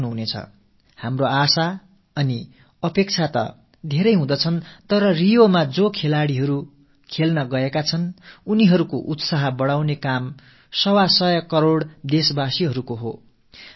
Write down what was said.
நம் மனங்களில் ஏராளமான ஆசைகளும் அபிலாஷைகளும் இருக்கின்றன அதே வேளையில் ரியோவில் விளையாடச் சென்றிருக்கும் விளையாட்டு வீரர்களின் மனோதிடத்தையும் நம்பிக்கையையும் மேலும் பலப்படுத்தும் பணி 125 கோடி நாட்டு மக்களுடையது